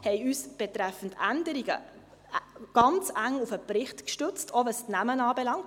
Wir haben uns betreffend Änderungen ganz eng auf den Bericht gestützt – auch, was die Namen anbelangt;